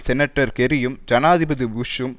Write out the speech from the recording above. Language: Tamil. செனட்டர் கெர்ரியும் ஜனாதிபதி புஷ்ஷும்